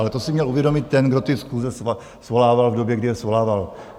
Ale to si měl uvědomit ten, kdo ty schůze svolával, v době, kdy je svolával.